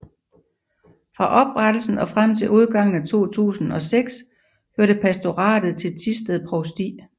Fra oprettelsen og frem til udgangen af 2006 hørte pastoratet til Thisted Provsti